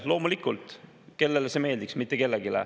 Loomulikult, kellele see meeldiks, mitte kellelegi.